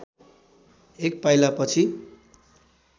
एक पाइला पछि